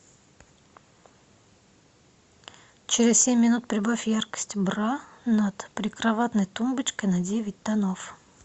через семь минут прибавь яркость бра над прикроватной тумбочкой на девять тонов